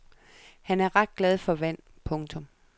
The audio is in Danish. Han er ret glad for vand. punktum